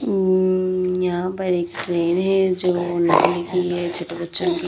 अम यहां पर एक ट्रेन है जो लोहे की ये छोटे बच्चों की --